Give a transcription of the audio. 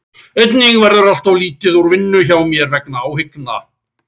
Einnig verður allt of lítið úr vinnu hjá mér vegna áhyggna.